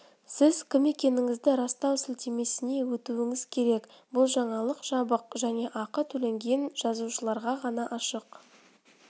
сіз кім екендігіңізді растау сілтемесіне өтуіңіз керек бұл жаңалық жабық және ақы төлеген жазылушыларға ғана ашық